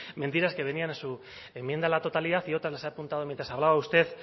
mentiras que venían en su enmienda a la totalidad y otras las he apuntado mientras hablaba usted